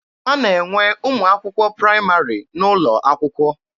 A na-enwe ụmụ akwụkwọ praịmarị n'ụlọ akwụkwọ.